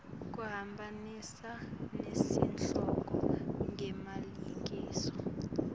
kuhambisana nesihloko ngemalengiso